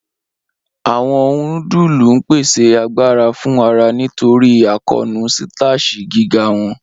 Awọn nudulu n pese agbara fun ara nitori akoonu sitashi giga wọn.